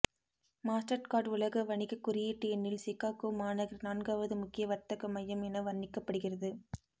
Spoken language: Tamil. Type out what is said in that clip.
மாஸ்டர்கார்ட் உலக வணிக குறியீட்டு எண்ணில் சிகாகோ மாநகர் நான்காவது முக்கிய வர்த்தக மையம் என வர்ணிக்கப்படுகிறது